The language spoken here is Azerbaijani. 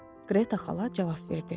Qreta xala cavab verdi.